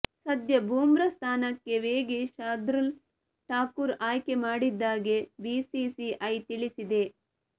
ಸದ್ಯ ಬುಮ್ರಾ ಸ್ಥಾನಕ್ಕೆ ವೇಗಿ ಶಾರ್ದೂಲ್ ಠಾಕೂರ್ ಆಯ್ಕೆ ಮಾಡಿದ್ದಾಗಿ ಬಿಸಿಸಿಐ ತಿಳಿಸಿದೆ